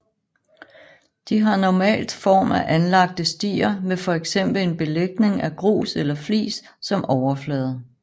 De har normalt form af anlagte stier med fx en belægning af grus eller flis som overflade